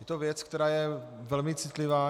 Je to věc, která je velmi citlivá.